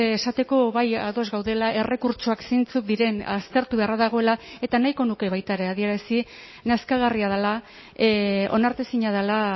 esateko bai ados gaudela errekurtsoak zeintzuk diren aztertu beharra dagoela eta nahiko nuke baita ere adierazi nazkagarria dela onartezina dela